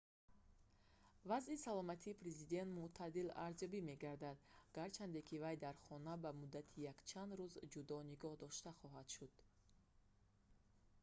вазъи саломатии президент мӯътадил арзёбӣ мегардад гарчанде ки вай дар хона ба муддати якчанд рӯз ҷудо нигоҳ дошта хоҳад шуд